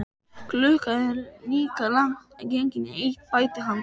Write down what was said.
Klukkan er líka langt gengin í eitt, bætti hann við.